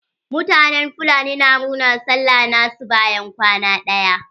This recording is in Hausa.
Mutanen fulani na murnar sallah na su bayan kwana ɗaya.